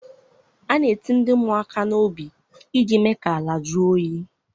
A na-eti ndị mmụọ aka n'obi iji mee ka ala jụọ oyi.